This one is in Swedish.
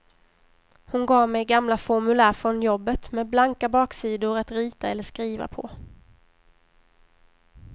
Hon gav mig gamla formulär från jobbet, med blanka baksidor att rita eller skriva på.